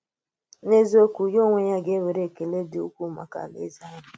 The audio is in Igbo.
N’eziokwu, ya onwe ya gà-nwèrè ekele dị́ ukwuu maka Àláèzè àhụ̀.